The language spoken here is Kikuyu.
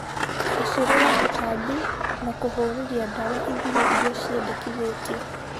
bacĩlĩra tutambi na kũhuhĩrĩlia dawa ithimi iria ciendekithĩtio